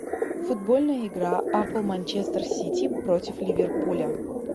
футбольная игра апл манчестер сити против ливерпуля